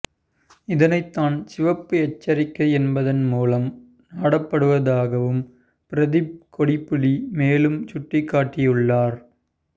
இதனைத்தான் சிவப்பு எச்சரிக்கை என்பதன் மூலம் நாடப்படுவதாகவும் பிரதீப் கொடிப்பிலி மேலும் சுட்டிக்காட்டியுள்ளார்